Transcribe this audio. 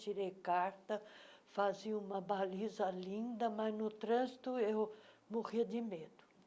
Tirei carta, fazia uma baliza linda, mas, no trânsito, eu morria de medo.